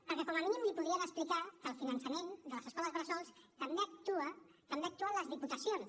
perquè com a mínim li podrien explicar que en el finançament de les escoles bressol també hi actuen les diputacions